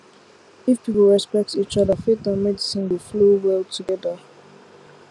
if people respect each other faith and medicine go flow well together